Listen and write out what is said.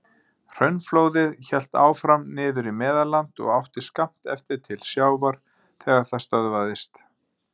Hraunflóðið hélt áfram niður í Meðalland og átti skammt eftir til sjávar þegar það stöðvaðist.